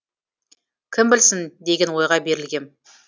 кім білсін деген ойға берілгем